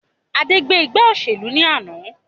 Adé gbé ìgbà òṣèlú ni àná